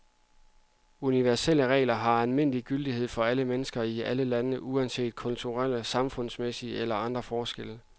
Universelle regler har almen gyldighed for alle mennesker i alle lande uanset kulturelle, samfundsmæssige eller andre forskelle.